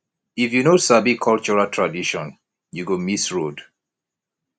if you no sabi cultural tradition you go miss road